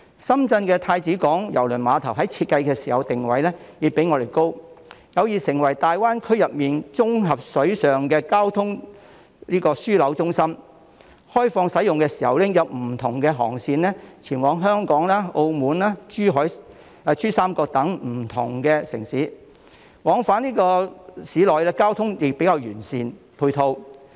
深圳太子灣郵輪母港在設計時的定位已較香港高，有意成為大灣區的綜合水上交通樞紐中心；開放使用時已經有不同航線前往香港、澳門、珠三角等不同城市，往返市內交通的配套亦比較完善。